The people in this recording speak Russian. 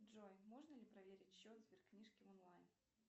джой можно ли проверить счет сберкнижки онлайн